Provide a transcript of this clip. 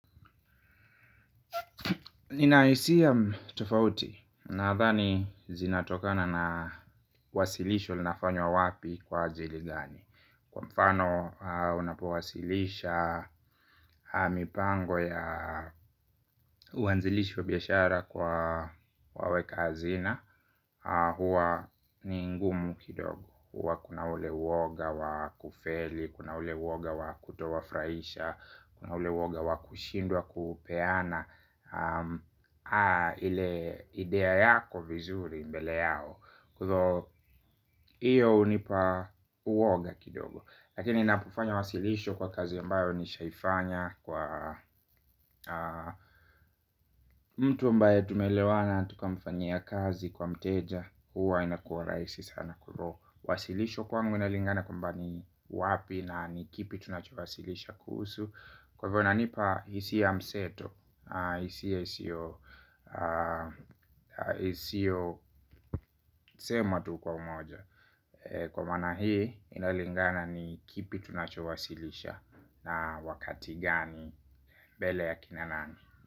Nina hisia tofauti nadhani zinatokana na wasilisho linafanywa wapi kwa ajili gani. Kwa mfano unapuwasilisha mipango ya uanzilishi wa biashara kwa waweka hazina. Huwa ni ngumu kidogo. Huwa kuna ule uoga wa kufeli, kuna ule uoga wa kutowafurahisha. Kuna ule uoga wa kushindwa kupeana. Ile idea yako vizuri mbele yao. Kwa hivyo iyo hunipa uoga kidogo. Lakini napofanya wasilisho kwa kazi ambayo nishaifanya kwa mtu ambaye tumeelewana tukamfanyia kazi kwa mteja huwa inakuwa rahisi sana kuro. Wasilisho kwangu inalingana kwamba ni wapi na ni kipi tunachowasilisha kuhusu. Kwa hivyo inanipa hisia ya mseto hisia sema tu kwa umoja. Kwa maana hii inalingana ni kipi tunachowasilisha. Na wakati gani mbele ya kina nani.